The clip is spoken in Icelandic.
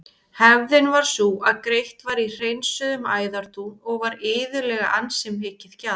Hefðin var sú að greitt var í hreinsuðum æðadún og var iðulega ansi mikið gjald.